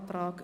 Kürzung